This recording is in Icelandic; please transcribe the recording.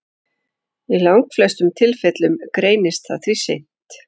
Í langflestum tilfellum greinist það því seint.